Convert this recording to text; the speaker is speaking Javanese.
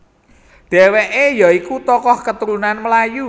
Dheweke ya iku tokoh keturunan Melayu